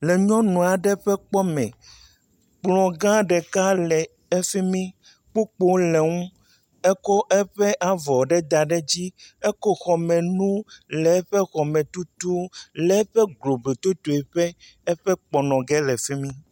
Le nyɔnu aɖe ƒe kpɔ me. Kplɔ gã ɖeka le efi mi. Kpukpo le enu. Eko eƒe avɔ aɖe da ɖe edzi. Eko eƒe xɔmenu le eƒe xɔme tutum le eƒe globui totoƒe eƒɔ kplɔ nɔ g le fi mi.